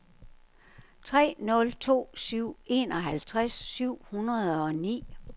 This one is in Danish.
tre nul to syv enoghalvtreds syv hundrede og ni